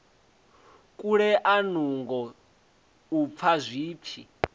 kulea nungo u fa zwipfi